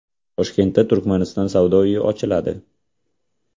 Toshkentda Turkmaniston savdo uyi ochiladi.